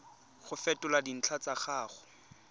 go fetola dintlha tsa gago